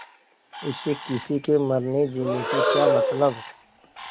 उसे किसी के मरनेजीने से क्या मतलब